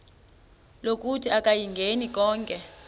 lokuthi akayingeni konke